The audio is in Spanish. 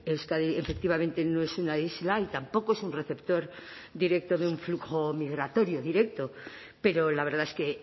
euskadi efectivamente no es una isla y tampoco es un receptor directo de un flujo migratorio directo pero la verdad es que